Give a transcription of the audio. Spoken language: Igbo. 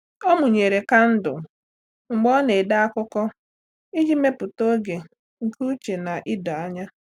Ọ́ mụ́nyèrè kandụl mgbe ọ na-ede akụkọ iji mèpụ́tá oge nke úchè na idoanya.